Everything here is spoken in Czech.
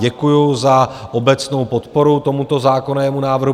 Děkuju za obecnou podporu tomuto zákonnému návrhu.